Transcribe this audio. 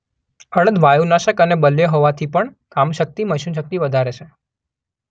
અડદ વાયુનાશક અને બલ્ય હોવાથી પણ કામશક્તિ-મૈથુનશક્તિ વધારે છે.